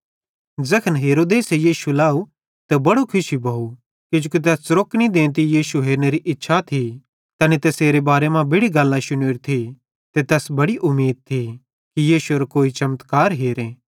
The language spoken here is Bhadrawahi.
ज़ैखन हेरोदेसे यीशु लाव त बड़ो खुशी भोव किजोकि तैस च़रोक्नी देंती यीशु हेरनेरी इच्छा थी तैनी तैसेरे बारे मां बेड़ि गल्लां शुनोरी थी ते तैस बड़ी उमीद थी कि यीशु एरो कोई चमत्कार हेरे